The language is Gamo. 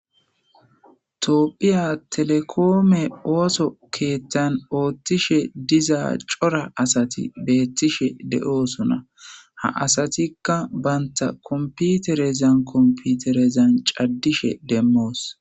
Tophiya telekome ooso sohon ooththiza asati beetosona. Ha asatola banta kompoterezan kompoterezan cadishe de'osona